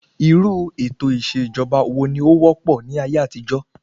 Irú ètò ìṣèjọba wo ni ó wópò ní ayé àtijó?